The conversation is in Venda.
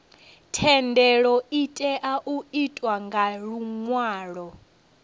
thendelo itea u itwa nga luṅwalo